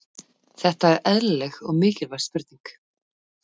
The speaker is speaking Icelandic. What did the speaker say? Þetta er eðlileg og mikilvæg spurning.